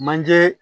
Manje